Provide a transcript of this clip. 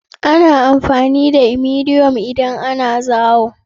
Ana amfani da imodium idan ana zaayo.